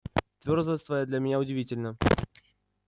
твёрдость твоя для меня удивительна